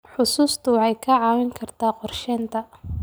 Xusuustu waxay kaa caawin kartaa qorsheynta.